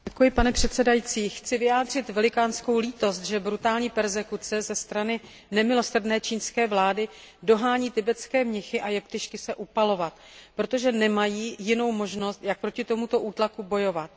Pane předsedající, chci vyjádřit velikánskou lítost nad tím, že brutální perzekuce ze strany nemilosrdné čínské vlády dohání tibetské mnichy a jeptišky k sebeupalování, protože nemají jinou možnost, jak proti tomuto útlaku bojovat.